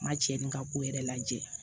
N ma cɛ ni n ka ko yɛrɛ lajɛ